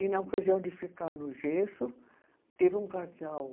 E na ocasião de ficar no gesso, teve um casal.